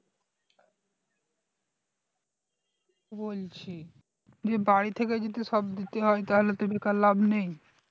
বলছি যে বাড়ী থেকে যদি সব দিতে হয় তাহলে তো বেকার লাভ নেই